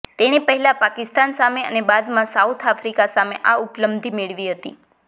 તેણે પહેલા પાકિસ્તાન સામે અને બાદમાં સાઉથ આફ્રિકા સામે આ ઉપલબ્ધિ મેળવી હતી